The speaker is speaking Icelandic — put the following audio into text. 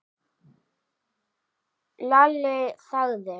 Lalli þagði.